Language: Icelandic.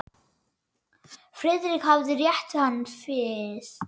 Friðrik hafði rétt hann við.